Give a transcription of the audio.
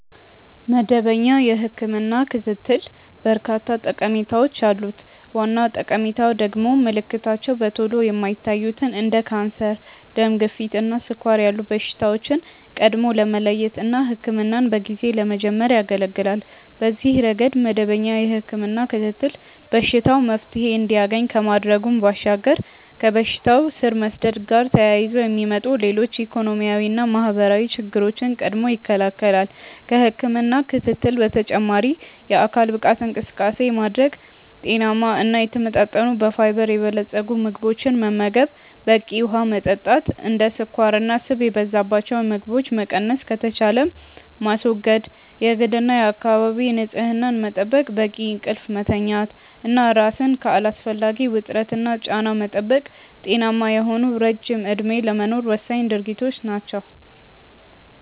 መደበኛ የህክምና ክትትል በርካታ ጠቀሜታዎች አሉት። ዋና ጠቀሜታው ደግሞ ምልክታቸው በቶሎ የማይታዩትን እንደ ካንሰር፣ ደም ግፊት እና ስኳር ያሉ በሽታዎችን ቀድሞ ለመለየት እና ህክምናን በጊዜ ለመጀመር ያገለገላል። በዚህ ረገድ መደበኛ የህክምና ክትትል በሽታው መፍትሔ እንዲያገኝ ከማድረጉ ባሻገር ከበሽታው ስር መስደድ ጋር ተያይዞ የሚመጡ ሌሎች ኢኮኖሚያዊና ማህበራዊ ችግሮችን ቀድሞ ይከለከላል። ከህክምና ክትትል በተጨማሪ የአካል ብቃት እንቅስቃሴ ማድረግ፣ ጤናማ እና የተመጣጠኑ በፋይበር የበለፀጉ ምግቦችን መመገብ፣ በቂ ውሀ መጠጣት፣ እንደ ስኳርና ስብ የበዛባቸው ምግቦችን መቀነስ ከተቻለም ማስወገድ፣ የግልና የአካባቢ ንጽህና መጠበቅ፣ በቂ እንቅልፍ መተኛት እና ራስን ከአላስፈላጊ ውጥረትና ጫና መጠበቅ ጤናማ የሆነ ረጅም እድሜ ለመኖር ወሳኝ ድርጊቶች ናቸው።